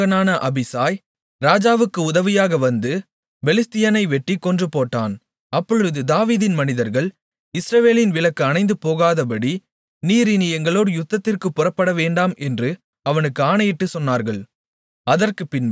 செருயாவின் மகனான அபிசாய் ராஜாவுக்கு உதவியாக வந்து பெலிஸ்தியனை வெட்டிக் கொன்றுபோட்டான் அப்பொழுது தாவீதின் மனிதர்கள் இஸ்ரவேலின் விளக்கு அணைந்துபோகாதபடி நீர் இனி எங்களோடு யுத்தத்திற்குப் புறப்படவேண்டாம் என்று அவனுக்கு ஆணையிட்டுச் சொன்னார்கள்